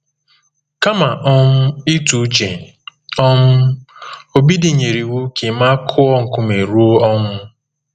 Kama um ịtụ uche, um Obidi nyere iwu ka Emma kụọ nkume ruo ọnwụ.